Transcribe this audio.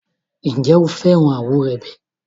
Ǹjẹ́ o fẹ́ràn àwúrèbe?